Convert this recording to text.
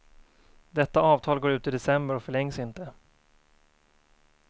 Detta avtal går ut i december och förlängs inte.